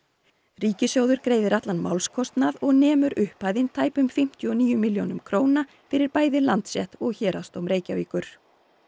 ríkissjóður greiðir allan málskostnað og nemur upphæðin tæpum fimmtíu og níu milljónum króna fyrir bæði Landsrétt og Héraðsdóm Reykjavíkur